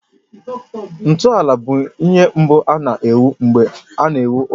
Ntọala bụ ihe mbụ a na-ewu mgbe a na-ewu ụlọ.